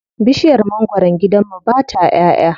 Bishiyar mangwaron gidan mu ba ta ƴaʼƴa.